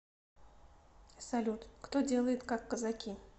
салют кто делает как казаки